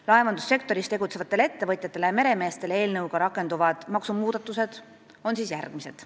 Laevandussektoris tegutsevatele ettevõtjatele ja meremeestele eelnõuga rakenduvad maksumuudatused on järgmised.